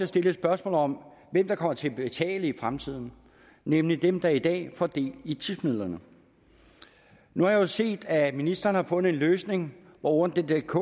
stillet spørgsmål om hvem der kommer til at betale i fremtiden nemlig dem der i dag får del i tipsmidlerne nu har jeg jo set at ministeren har fundet en løsning hvor ordnetdk